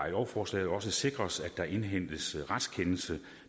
i lovforslaget også sikres at der indhentes retskendelse